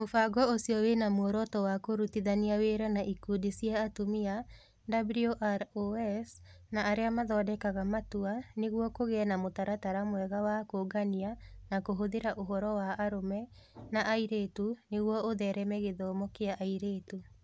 Mũbango ũcio wĩ na muoroto wa kũrutithania wĩra na ikundi cia atumia WROs) na arĩa mathondekaga matua nĩguo kũgĩe na mũtaratara mwega wa kũũngania na kũhũthĩra ũhoro wa arũme na airĩtu nĩguo ũthereme gĩthomo kĩa airĩtu.